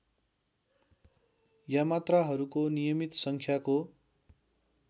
यामात्राहरूको नियमित सङ्ख्याको